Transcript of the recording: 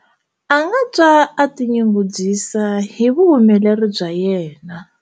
A nga twa a tinyungubyisa hi vuhumeleri bya yena.